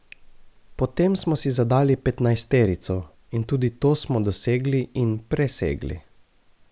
Potem smo si zadali petnajsterico in tudi to smo dosegli in presegli.